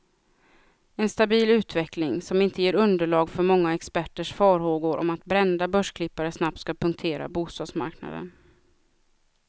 En stabil utveckling, som inte ger underlag för många experters farhågor om att brända börsklippare snabbt ska punktera bostadsmarknaden.